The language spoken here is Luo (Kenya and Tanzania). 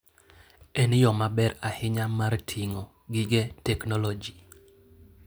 En yo maber ahinya mar ting'o gige teknoloji.